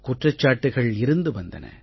குற்றச்சாட்டுகள் இருந்து வந்தன